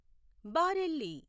Bareilly